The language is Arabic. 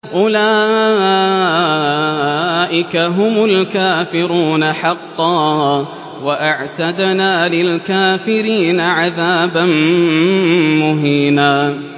أُولَٰئِكَ هُمُ الْكَافِرُونَ حَقًّا ۚ وَأَعْتَدْنَا لِلْكَافِرِينَ عَذَابًا مُّهِينًا